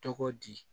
Tɔgɔ di